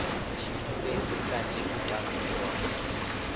tshiṅwe fhedzi kanzhi u tambiwa